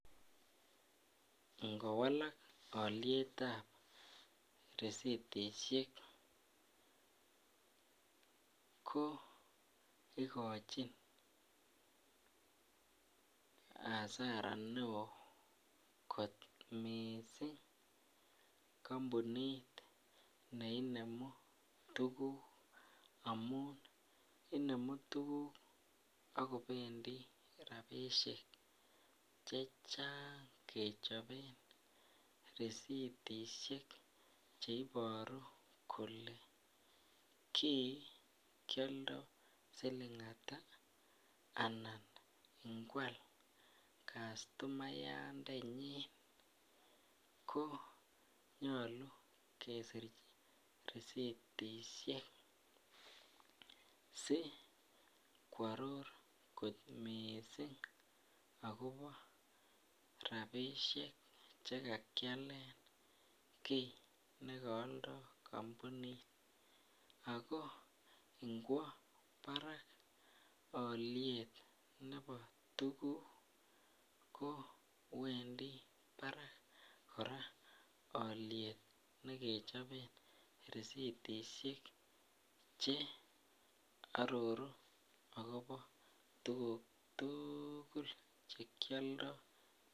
Ingowalak olietab risitishek ko ikochin asara neoo kot mising kombunit neinemu tukuk amun inemu tukuk ak kobendi rabishek chechang kechoben risitishek cheiboru kolee kii kioldo silingata anan ingwal customayandenyin konyolu kesir risitishek sikworor kot mising akobo rabishek chekakialen kii nekooldo kombunit ak ko ingwo barak oliet nebo tukuk ko wendi barak kora oliet nekechoben risitishek che ororu akobo tukuk tukul chekioldo.